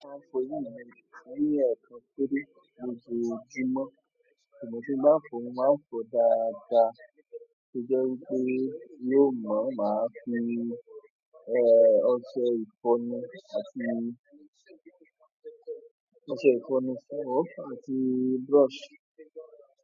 A máa ń fọ inú àwín ní ẹ̀ẹ̀kan kúrò lójoojúmọ́. Ìgbà tí n bá fọ̀ ọ́, mo máa ń fọ̀ ọ́ dáadáa. Ó jẹ́ wípé yóó màá máa fi, ẹ́, ọṣẹ ìfọnu àti, ọṣẹ ìfọnu fún ọ́ àti brush.